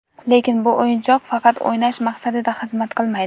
Lekin bu o‘yinchoq faqat o‘ynash maqsadida xizmat qilmaydi.